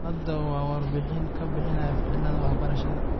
Hadawo wa warbahin kabixinahaya ficnidhi wax barashada.